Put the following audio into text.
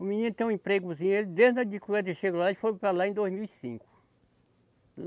O menino tem um empregozinho, ele desde quando eu chego lá, eles foram para lá em dois mil e cinco.